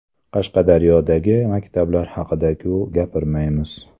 Qashqadaryodagi maktablar haqida-ku gapirmaymiz .